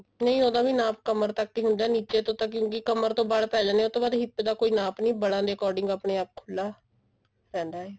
ਨਹੀਂ ਉਹਦਾ ਵੀ ਨਾਪ ਕਮਰ ਤੱਕ ਹੀ ਹੁੰਦਾ ਨਿੱਚੇ ਤੋਂ ਤਾਂ ਕਿਉਂਕਿ ਕਮਰ ਤੋਂ ਬਲ ਪੈ ਜਾਂਦੇ ਨੇ ਉਹ ਤੋਂ ਬਾਅਦ hip ਦਾ ਕੋਈ ਨਾਪ ਨਹੀਂ ਬਲਾ ਦੇ according ਆਪਣੇ ਆਪ ਖੁੱਲਾ ਰਹਿੰਦਾ ਐ